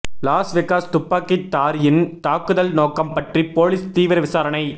loss Vegas துப்பாக்கித்தாரியின் தாக்குதல் நோக்கம் பற்றி போலீஸ் தீவிர விசாரணை